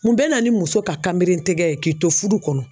Mun bɛ na ni muso ka kanberentigɛ ye k'i to fudu kɔnɔ.